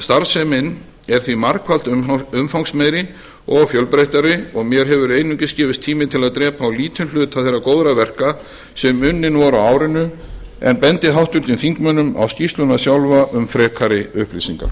starfsemin er því margfalt umfangsmeiri og fjölbreyttari og mér hefur einungis gefist tími til að drepa á lítinn hluta þeirra góðra verka sem unnin voru á árinu en bendi háttvirtum þingmönnum á skýrsluna sjálfa um frekari upplýsingar